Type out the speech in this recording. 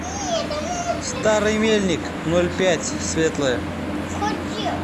старый мельник ноль пять светлое